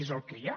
és el que hi ha